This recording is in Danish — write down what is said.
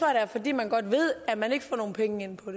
er fordi man godt ved at man ikke får nogen penge ind på